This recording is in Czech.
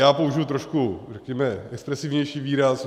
Já použiji trošku, řekněme, expresívnější výraz.